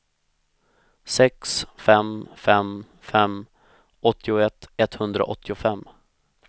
sex fem fem fem åttioett etthundraåttiofem